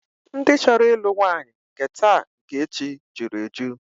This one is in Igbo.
Ndị chọrọ ịlụ nwaanyị nke taa nke echi jụrụ eju